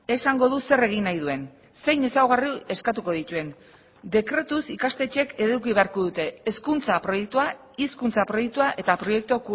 esango du zer egin nahi duen zein ezaugarri eskatuko dituen dekretuz ikastetxeek eduki beharko dute hezkuntza proiektua hizkuntza proiektua eta proiektu